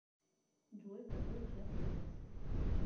джой который час сейчас